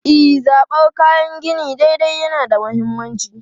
E, zabar kayan gini daidai yana da mahimmanci.